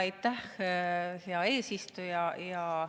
Aitäh, hea eesistuja!